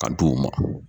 Ka di u ma